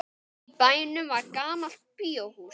Í bænum var gamalt bíóhús.